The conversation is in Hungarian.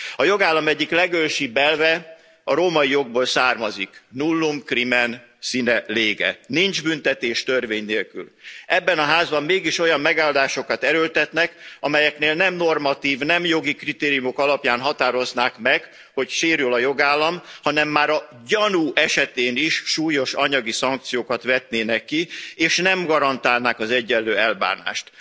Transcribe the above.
A jogállam egyik legősibb elve a római jogból származik nullum crimen sine lege, nincs büntetés, törvény nélkül. Ebben a házban, mégis olyan megoldásokat erőltetnek, amelyeknél nem normatív, nem jogi kritériumok alapján határoznák meg, hogy sérül a jogállam, hanem már a gyanú esetén is súlyos anyagi szankciókat vetnének ki, és nem garantálnák az egyenlő elbánást.